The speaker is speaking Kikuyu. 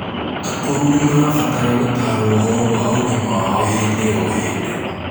akũrũ nimarabatara gũtarwo ũhoro wa ũgima wao hĩndĩ o hĩndĩ